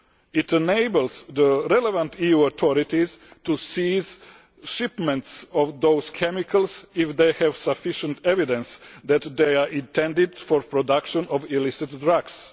It enables the relevant EU authorities to seize shipments of those chemicals if they have sufficient evidence that they are intended for the production of illicit drugs.